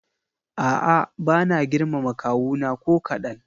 A'a bana girmama kawuna ko kaɗan.